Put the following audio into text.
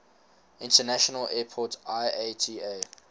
international airport iata